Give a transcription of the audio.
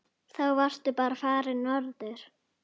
Þá varstu bara farinn norður.